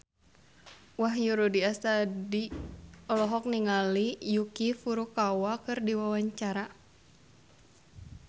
Wahyu Rudi Astadi olohok ningali Yuki Furukawa keur diwawancara